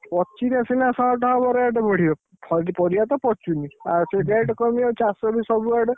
ପଚିଲେ ସିନା ହବ rate ବଢିବ। ପରିବା ତ ପଚୁନି ସେ rate କମିବ, ଚାଷ ବି ସବୁଆଡେ।